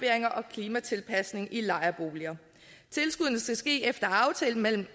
klimatilpasninger i lejerboliger tilskuddene skal ske efter aftale mellem